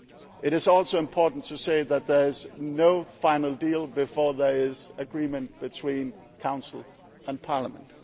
with regard to codecision. It is also important to say that there is no final deal before there is agreement between